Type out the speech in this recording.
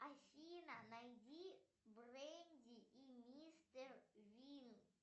афина найди бренди и мистер вин